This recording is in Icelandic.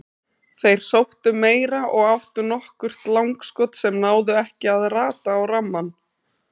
Þeir sóttu meira og áttu nokkur langskot sem náðu ekki að rata á rammann.